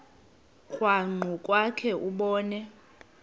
krwaqu kwakhe ubone